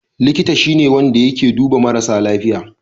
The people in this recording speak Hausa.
Likita shi ne wanda yake duba marasa lafiya.